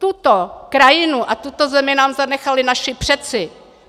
Tuto krajinu a tuto zemi nám zanechali naši předci.